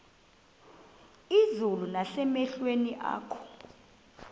izulu nasemehlweni akho